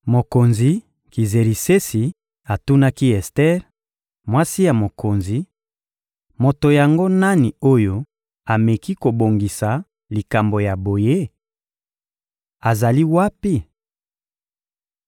Mokonzi Kizerisesi atunaki Ester, mwasi ya mokonzi: — Moto yango nani oyo ameki kobongisa likambo ya boye? Azali wapi?